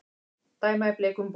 Dæma í bleikum búningum